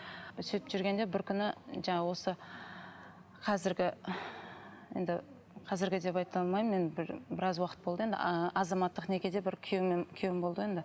сөйтіп жүргенде бір күні жаңағы осы қазіргі енді қазіргі деп айта алмаймын енді бір біраз уақыт болды енді ы азаматтық некеде бір күйеуім болды ғой енді